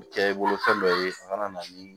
Kɛ i bolo fɛn dɔ ye a ka na ni